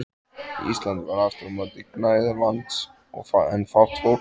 Íslandi var aftur á móti gnægð lands en fátt fólk.